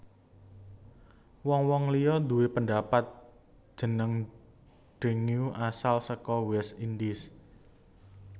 Wong wong liya due pendapat jeneng dengue asale saka West Indies